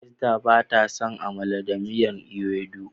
Esther ba ta son "amala da miyan ewedu".